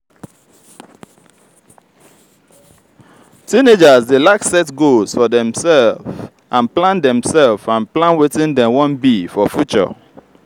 teenagers de like picture how um dem go be as adults